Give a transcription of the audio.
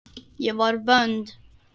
Ég var vond.